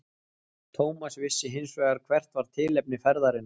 Thomas vissi hins vegar hvert var tilefni ferðarinnar.